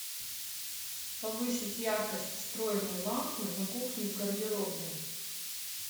повысить яркость встроенной лампы на кухне в гардеробной